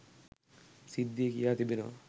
සිද්ධිය කියා තිබෙනවා.